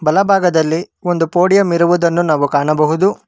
ಬಲಭಾಗದಲ್ಲಿ ಒಂದು ಪೋಡಿಯಂ ಇರುವುದನ್ನು ನಾವು ಕಾಣಬಹುದು.